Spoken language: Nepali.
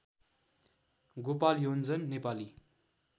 गोपाल योन्जन नेपाली